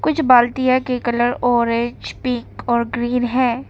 कुछ बाल्टिया के कलर ऑरेंज पिंक और ग्रीन हैं।